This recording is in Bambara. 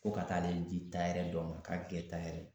Ko ka taa ale di tayɛri dɔ ma k'a bɛ kɛ tayɛri ye